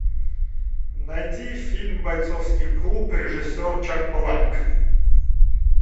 найди фильм бойцовский клуб режиссер чак паланик